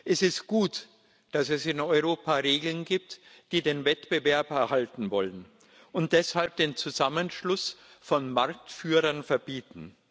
Es ist gut, dass es in Europa Regeln gibt, die den Wettbewerb erhalten wollen und deshalb den Zusammenschluss von Marktführern verbieten.